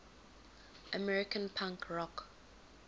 american punk rock